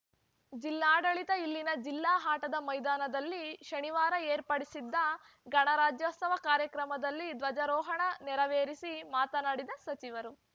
ಜಿಲ್ಲಾಡಳಿತ ಇಲ್ಲಿನ ಜಿಲ್ಲಾ ಆಟದ ಮೈದಾನದಲ್ಲಿ ಶನಿವಾರ ಏರ್ಪಡಿಸಿದ್ದ ಗಣರಾಜ್ಯೋತ್ಸವ ಕಾರ್ಯಕ್ರಮದಲ್ಲಿ ಧ್ವಜಾರೋಹಣ ನೆರವೇರಿಸಿ ಮಾತನಾಡಿದ ಸಚಿವರು